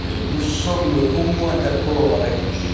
Nous sommes au moins d'accord avec M.